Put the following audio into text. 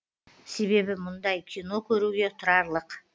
себебі мұндай кино көруге тұрарлық